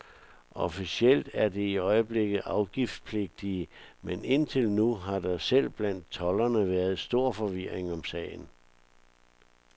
Officielt er de i øjeblikket afgiftspligtige, men indtil nu har der selv blandt tolderne været stor forvirring om sagen.